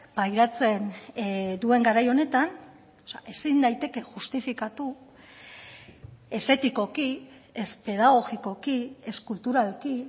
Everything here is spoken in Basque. pairatzen duen garai honetan ezin daiteke justifikatu ez etikoki ez pedagogikoki ez kulturalki